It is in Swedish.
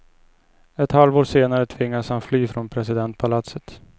Ett halvår senare tvingades han fly från presidentpalatset.